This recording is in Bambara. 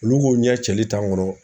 Olu k'u ɲɛ cɛli kɔnɔ